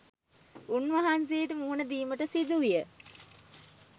උන් වහන්සේට මුහුණ දීමට සිදු විය.